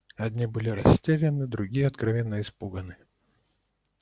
одни были растеряны другие откровенно испуганы